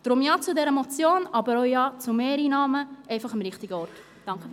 Deshalb Ja zu dieser Motion und Ja zu Mehreinnahmen, aber am richtigen Ort.